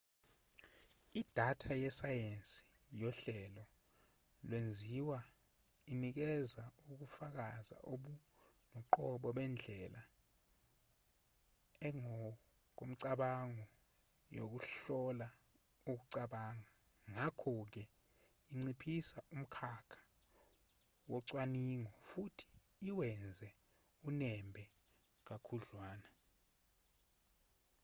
idatha yesayensi yohlelo lwezinzwa inikeza ukufakazi obungokoqobo bendlela engokomcabango yokuhlola ukucabanga ngakho-ke inciphisa umkhakha wocwaningo futhi iwenze unembe kakhudlwana